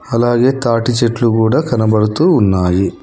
అలాగే తాటి చెట్లు కూడా కనబడుతూ ఉన్నాయి